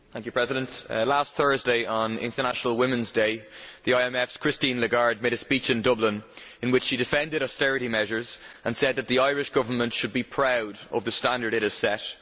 Madam President, last Thursday on International Women's Day the IMF's Christine Lagarde made a speech in Dublin in which she defended austerity measures and said that the Irish Government should be proud of the standard it has set.